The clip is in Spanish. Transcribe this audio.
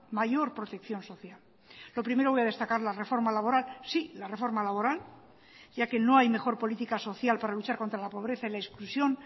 mayor protección social lo primero voy a destacar la reforma laboral sí la reforma laboral ya que no hay mejor política social para luchar contra la pobreza y la exclusión